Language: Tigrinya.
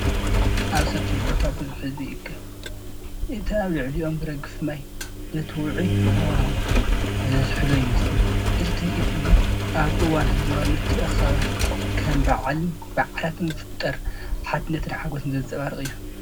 ኣብ ሰፊሕ ቦታ ብዙሕ ህዝቢ ይእከብ። እቲ ኣብ ልዕሊኦም ዝረግፍ ማይ ነቲ ውዑይ ሃዋህው ዘዝሕሎ ይመስል። እዚ ትርኢት እዚ ኣብ እዋን ህዝባዊ ምትእኽኻባት ከም በዓልን በዓላትን ዝፍጠር ሓድነትን ሓጎስን ዘንጸባርቕ እዩ።